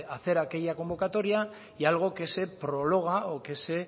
hacer aquella convocatoria y algo que se prorroga o que se